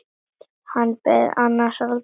Hann beið hans aldrei þar.